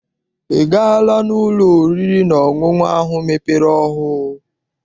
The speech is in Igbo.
I gaala n'ụlọ oriri na ọṅụṅụ ahụ mepere ọhụụ?